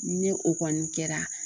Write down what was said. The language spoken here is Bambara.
Ni o kɔni kɛra